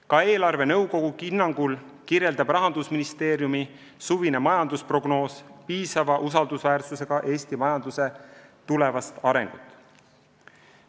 Ka eelarvenõukogu hinnangul kajastab Rahandusministeeriumi suvine majandusprognoos piisava usaldusväärsusega Eesti majanduse tulevast arengut.